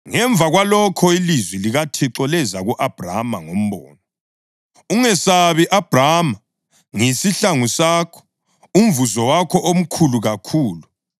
Ngemva kwalokho ilizwi likaThixo leza ku-Abhrama ngombono: “Ungesabi, Abhrama. Ngiyisihlangu sakho, umvuzo wakho omkhulu kakhulu.”